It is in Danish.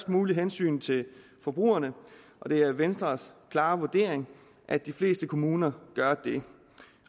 muligt hensyn til forbrugerne det er venstres klare vurdering at de fleste kommuner gør det